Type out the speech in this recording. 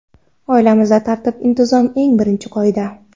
Oilamizda tartib-intizom eng birinchi qoida.